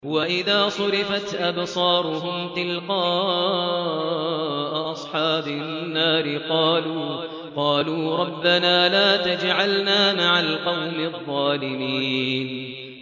۞ وَإِذَا صُرِفَتْ أَبْصَارُهُمْ تِلْقَاءَ أَصْحَابِ النَّارِ قَالُوا رَبَّنَا لَا تَجْعَلْنَا مَعَ الْقَوْمِ الظَّالِمِينَ